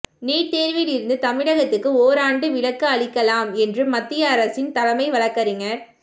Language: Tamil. நீட் தேர்வில் இருந்து தமிழகத்துக்கு ஓராண்டு விலக்கு அளிக்கலாம் என்று மத்திய அரசின் தலைமை வழக்கறிஞர்